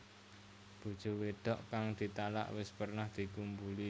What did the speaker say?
Bojo wedok kang ditalak wis pernah dikumpuli